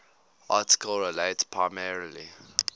article relates primarily